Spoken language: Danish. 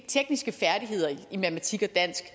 tekniske færdigheder i matematik og dansk